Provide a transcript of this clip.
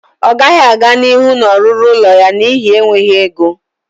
Ọ gaghị aga n'ihu na-ọrụrụ ụlọ ya n'ihi enweghị ego